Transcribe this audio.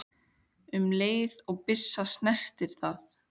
um leið og byssa snertir það.